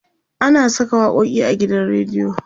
ana Saka waƙoƙi a gidan rediyo